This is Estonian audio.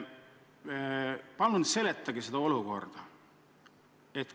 Palun seletage seda olukorda!